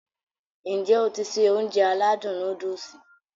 N jẹ́ o ti se Ounjẹ aládùn nóódùsì?